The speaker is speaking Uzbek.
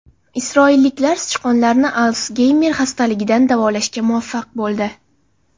Isroilliklar sichqonlarni Alsgeymer xastaligidan davolashga muvaffaq bo‘ldi.